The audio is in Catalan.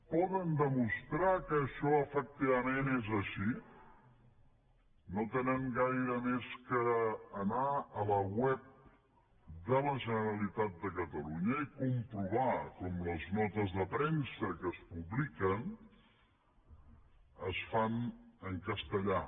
poden demostrar que això efectivament és així no tenen gaire més que anar a la web de la generalitat de catalunya i comprovar com les notes de premsa que es publiquen es fan en castellà